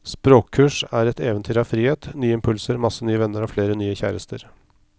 Språkkurs er et eventyr av frihet, nye impulser, masse nye venner og flere nye kjærester.